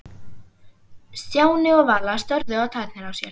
Stjáni og Vala störðu á tærnar á sér.